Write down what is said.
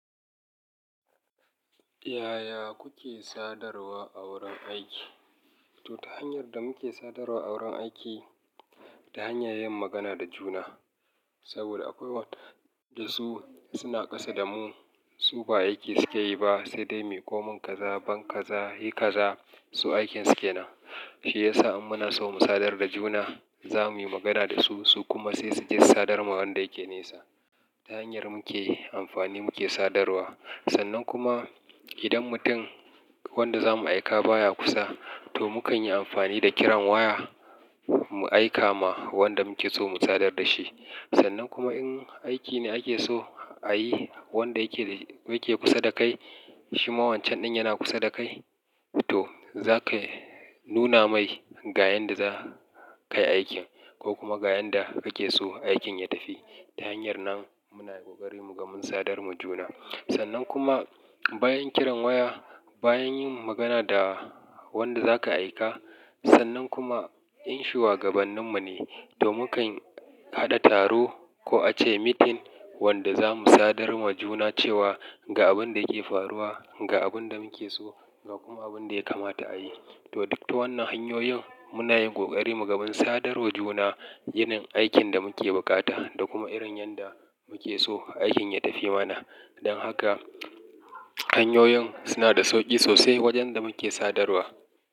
Yaya kuke sadarwa a wurin aiki? To, ta hanyar da muke sadarwa a wurin aiki, ta hanyar yin magana da juna. Saboda akwai wanda su suna ƙasa da mu, su ba aiki suke yi ba, sai dai mai komin kaza, ban kaza, hi kaza su aikin suke na. Shi yasa in muna so mu sadar da juna, za mu yi magana da su, su kuma sai su ji sadarwar wanda yake nesa. Ta hanyar muke amfani muke sadarwa. Sannan kuma idan mutum wanda za mu aika baya kusa, to mukanyi amfani da kiran waya mu aika ma wanda muke so mu sadar da shi. Sannan kuma in aiki ne ake so a yi wanda yake, yake kusa da kai, shi ma wancan ɗin yana kusa da kai, to za ka nuna mai ga yanda za ka yi aikin ko kuma ga yanda kake so aikin ya tafi. Ta hanyar nan muna yi kokari mu ga mun sadar mu juna. Sannan kuma bayan kiran waya, bayan yin magana da wanda zaka aika, sannan kuma in shi wakilin mu ne, to mukanyi haɗa taro ko a ce meeting wanda za mu sadar mu juna cewa ga abin da yake faruwa, ga abin da muke so da kuma abin da ya kamata a yi. To duk ta wannan hanyoyin muna yin kokari mu ga mun sadar mu juna, yinin aikin da muke bukata da kuma irin yanda muke so aikin ya tafi mana. Don haka hanyoyin suna da sauƙi sosai wajen da muke sadarwa.